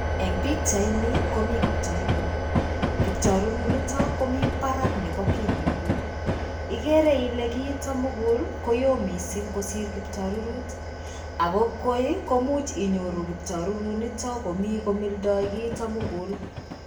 En pichaini komii kiptarirut, kiptarirut niton komii parak nebo kit nemugul ikere ile kiitok mugul koyo missing kosir kiptarirut ako koi koimuch inyoru kiptarirut niton komii komildo kiito mugul.